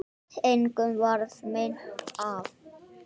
Engum varð meint af.